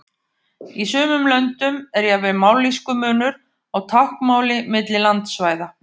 Í sumum löndum er jafnvel mállýskumunur á táknmáli milli landsvæða.